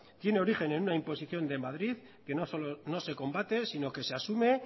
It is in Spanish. tiene origen en una imposición de madrid que no solo no se combate sino que se asume